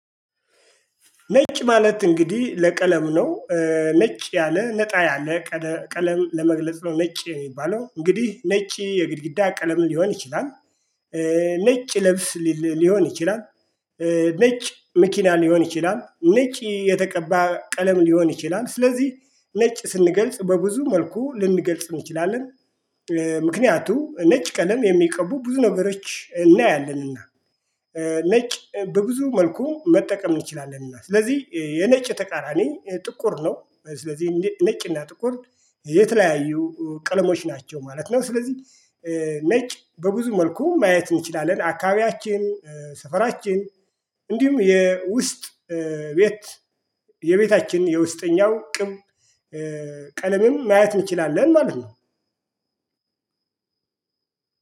ነጭ ማለት እንግዲህ ለቀለም ነው። ነጭ ያለ ነጣ ያለ ቀለም ለመግለጽ ነው ነጭ የሚባለው እንግዲህ ነጭ የግድግዳ ቀለም ሊሆን ይችላል። ነጭ ልብስ ሊሆን ይችላል። ነጭ መኪና ሊሆን ይችላል ነጭ የተቀባ ቀለም ሊሆን ይችላል ስለዚህ ነጭ ስንገልጽ በብዙ መልኩ ልንገልጽ እንችላለን። ምክንያቱም ነጭ ቀለም የሚቀቡ ብዙ ነገሮች እናያለንና። ነጭ በብዙ መልኩ መጠቀም እንችላለንና ስለዚህ የነጭ ተቃራኒ ጥቁር ነው ስለዚህ ነጭና ጥቁር። የተለያዩ ቀለሞች ናቸው ማለት ነው። ስለዚህ ነጭ በብዙ መልኩ ማየት እንችላለን አካባቢያችን ሰፈራችን እንዲሁም የውስጥ ቤት የቤታችን የውስጠኛው ቅብ ቀለምም ማየት እንችላለን ማለት ነው።